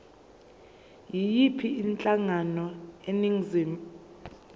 yiyiphi inhlangano eningizimu